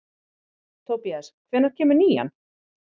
Tobías, hvenær kemur nían?